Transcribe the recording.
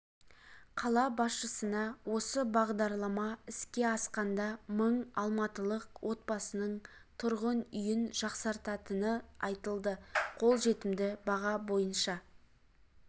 қала басшысына осы бағдарлама іске асқанда мың алматылық отбасының тұрғын үйін жақсартатыны айтылды қолжетімді баға бойынша